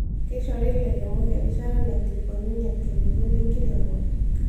Keishori lairemok erishata naikilikuanunye irkiliku lenkiremore